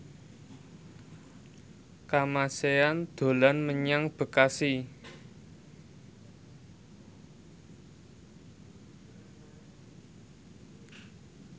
Kamasean dolan menyang Bekasi